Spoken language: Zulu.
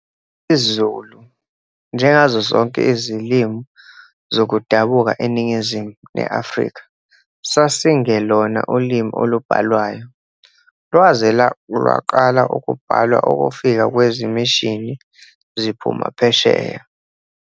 IsiZulu, njengazo zonke izilimu zokudabuka eNingizimu neAfrika sasingelona ulimi olubhalwayo, lwaze lwaqala ukubhalwa ukufika kwezimishini ziphuma phesheya.